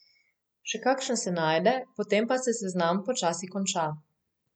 Še kakšen se najde, potem pa se seznam počasi konča.